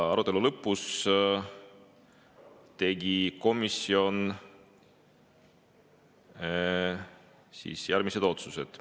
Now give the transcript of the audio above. Arutelu lõpus tegi komisjon järgmised otsused.